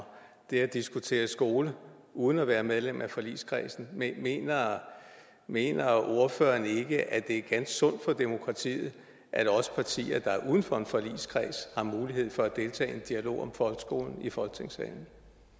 det at diskutere skole uden at være medlem af forligskredsen mener ordføreren ikke at det er ganske sundt for demokratiet at også partier der er uden for en forligskreds har mulighed for at deltage i en dialog om folkeskolen i folketingssalen